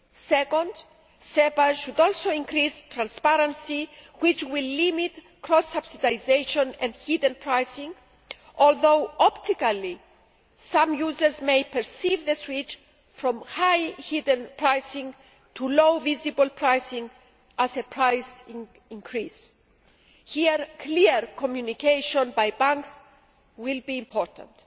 Secondly, SEPA should also increase transparency, which will limit cross subsidisation and hidden pricing, although optically, some users may perceive the switch from high hidden pricing to low visible pricing as a price increase. Here, clear communication by banks will be important.